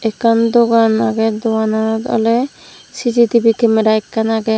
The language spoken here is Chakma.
ekkan dogan age doananot ole C_C_T_V camera ekkan age.